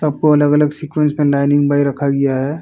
सबको अगल-अगल सीक्वेंस पे लीनिंग बाइ रखा गया है।